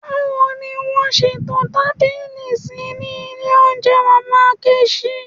Báwo ni wọ́n ṣe to tábìlì sí ní ilé oúnjẹ Mama Nkechi?